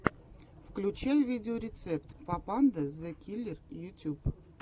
включай видеорецепт папанда зэ киллер ютюб